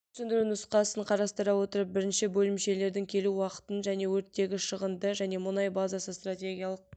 өрт сөндіру нұсқасын қарастыра отырып бірінші бөлімшелердің келу уақытын және өрттегі шығынды және мұнай базасы стратегиялық